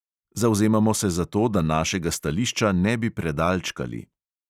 Zavzemamo se za to, da našega stališča ne bi predalčkali.